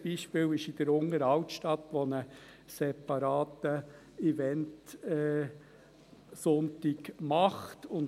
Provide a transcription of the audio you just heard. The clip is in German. Ein Beispiel gibt es in der Unteren Altstadt, wo ein separater Event-Sonntag gemacht wird.